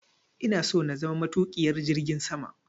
Ina so na zama matuƙiyar jirgin sama.